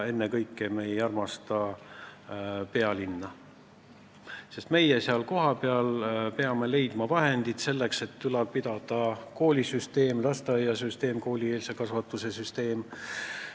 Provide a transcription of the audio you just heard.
Ennekõike ei armasta me pealinna, sest meie peame kohapeal leidma vahendid selleks, et ülal pidada koolisüsteemi, lasteaia- ehk koolieelse kasvatuse süsteemi.